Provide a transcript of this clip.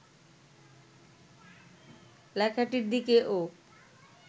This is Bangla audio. লেখাটির দিকে ও